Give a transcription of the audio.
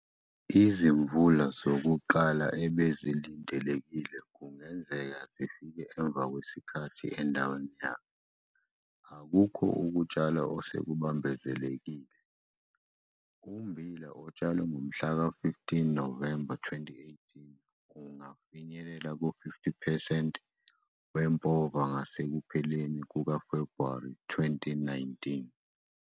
Izimvula zokuqala ebezilindlekile kungenzeka zifike emva kwesikhathi endaweni yakhe, akukho ukutshala osekubambezelekile. Ummbila otshalwe ngomhla ka-15 November 2018 ungafinyelela ku-50 percent wempova ngasekupheleni kukaFebhuwari 2019.